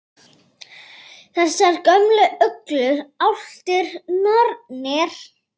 Þessar gömlu uglur, álftir, nornir?